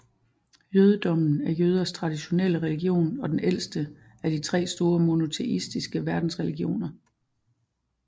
Jødedommen er jøders traditionelle religion og den ældste af de tre store monoteistiske verdensreligioner